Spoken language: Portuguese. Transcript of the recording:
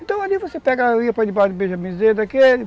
Então ali você pega, ia para debaixo do daquele.